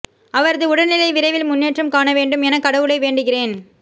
அவரது உடல்நிலை விரைவில் முன்னேற்றம் காண வேண்டும் என கடவுளை வேண்டுகிறேன்